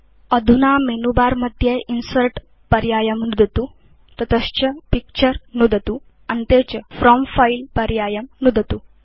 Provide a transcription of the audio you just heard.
अधुना मेनुबारमध्ये इन्सर्ट् पर्यायं नुदतु ततश्च पिक्चर नुदतु अन्ते च फ्रॉम् फिले पर्यायं नुदतु